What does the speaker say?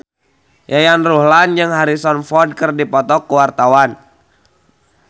Yayan Ruhlan jeung Harrison Ford keur dipoto ku wartawan